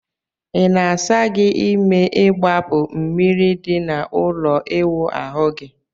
Ị na-asa gị ime igbapu mmiri di na ụlọ ịwụ ahu gi?